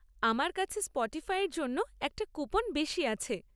আমার কাছে স্পটিফাইয়ের জন্য একটা কুপন বেশি আছে।